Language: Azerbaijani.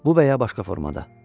Bu və ya başqa formada.